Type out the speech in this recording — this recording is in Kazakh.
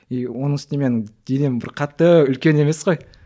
и оның үстіне менің денем бір қатты үлкен емес қой